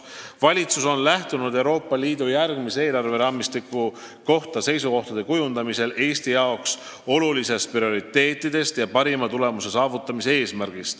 " Valitsus on lähtunud Euroopa Liidu järgmise eelarveraamistiku kohta seisukohtade kujundamisel Eesti jaoks olulistest prioriteetidest ja eesmärgist saavutada parim tulemus.